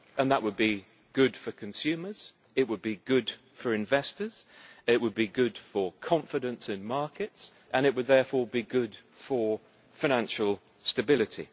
That would be good for consumers, it would be good for investors, it would be good for confidence in markets and it would therefore be good for financial stability.